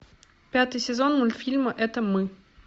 пятый сезон мультфильма это мы